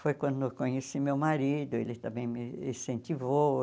Foi quando eu conheci meu marido, ele também me incentivou.